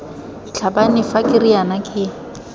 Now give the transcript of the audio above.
tlhabane fa ke riana ke